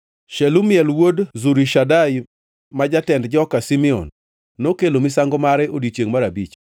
Shelumiel wuod Zurishadai, ma jatend joka Simeon nokelo misango mare e odiechiengʼ mar abich.